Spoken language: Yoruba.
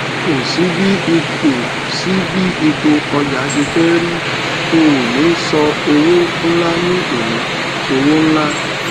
ko si bí ipò si bí ipò ọjà ṣe feri óni sọ owó ńlá ni oni sowo nla